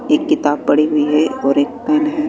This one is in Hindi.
एक किताब पड़ी हुई है और एक पेन है।